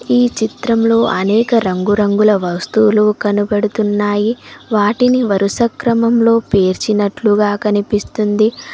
ఈ చిత్రంలో అనేక రంగురంగుల వస్తువులు కనబడుతున్నాయి వాటిని వరుస క్రమంలో పేర్చినట్లుగా కనిపిస్తుంది.